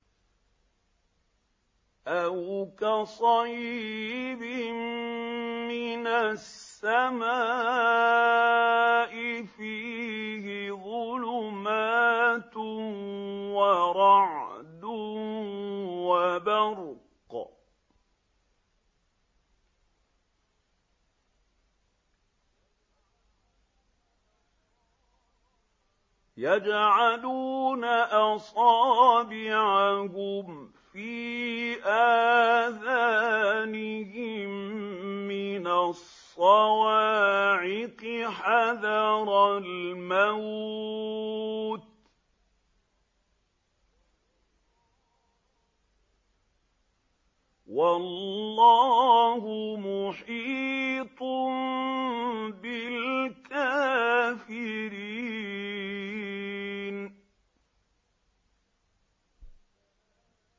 أَوْ كَصَيِّبٍ مِّنَ السَّمَاءِ فِيهِ ظُلُمَاتٌ وَرَعْدٌ وَبَرْقٌ يَجْعَلُونَ أَصَابِعَهُمْ فِي آذَانِهِم مِّنَ الصَّوَاعِقِ حَذَرَ الْمَوْتِ ۚ وَاللَّهُ مُحِيطٌ بِالْكَافِرِينَ